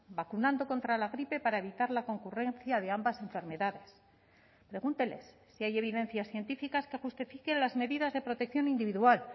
vacunando contra la gripe para evitar la concurrencia de ambas enfermedades pregúnteles si hay evidencias científicas que justifiquen las medidas de protección individual